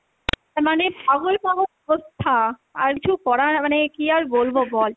মানে পাগল পাগল অবস্থা, আর কিছু করার মানে কী আর বলবো বল